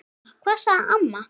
Ha, hvað? sagði amma.